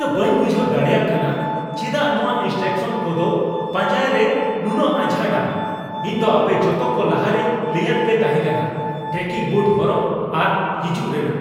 ᱤᱧ ᱫᱚ ᱵᱟᱹᱧ ᱵᱩᱡᱷᱟᱹᱣ ᱫᱟᱲᱮᱭᱟᱜ ᱠᱟᱱᱟ ᱪᱮᱫᱟᱜ ᱱᱚᱣᱟ ᱤᱱᱥᱴᱨᱩᱠᱥᱚᱱ ᱠᱚ ᱫᱚ ᱯᱟᱸᱡᱟᱭ ᱨᱮ ᱱᱩᱱᱟᱹᱜ ᱟᱸᱡᱷᱟᱴᱼᱟ ᱾ ᱤᱧ ᱫᱚ ᱟᱯᱮ ᱡᱚᱛᱚ ᱠᱚ ᱞᱟᱦᱟᱨᱮᱧ ᱞᱟᱹᱭᱟᱫ ᱯᱮ ᱛᱟᱦᱮᱸ ᱠᱟᱱᱟ ᱴᱨᱮᱠᱤᱝ ᱵᱩᱴ ᱦᱚᱨᱚᱜ ᱟᱨ ᱦᱤᱡᱩᱜ ᱨᱮᱱᱟᱜ ᱾